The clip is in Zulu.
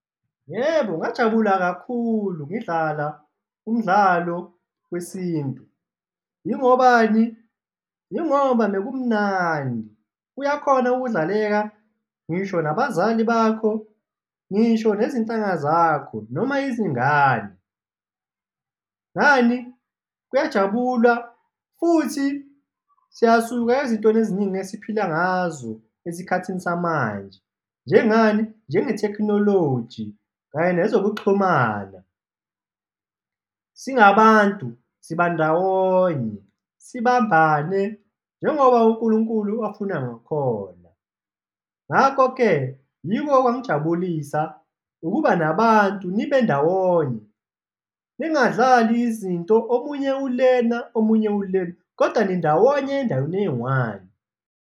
Yebo, ngajabula kakhulu ngidlala umdlalo wesintu, yingobani? Yingoba mekumnandi, uyakhona ukudlaleka ngisho nabazali bakho, ngisho nezintanga zakho noma izingane. Ngani? Kuyajabulwa futhi siyasuka ezintweni eziningi esiphila ngazo esikhathini samanje, njengani? Njengethekhinoloji kanye nezokuxhumana, singabantu siba ndawonye, sibambane njengoba uNkulunkulu afuna. ngakhona. Ngakho-ke, yiko okwangijabulisa, ukuba nabantu, nibe ndawonye, ningadlali izinto, omunye ulena omunye ulena kodwa nindawonye endaweni eyi-one.